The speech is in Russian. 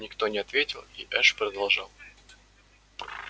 никто не ответил и эш продолжал